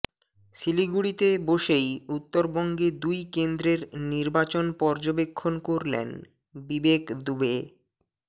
শিলিগুড়িতে বসেই উত্তরবঙ্গে দুই কেন্দ্রের নির্বাচন পর্যবেক্ষণ করলেন বিবেক দুবে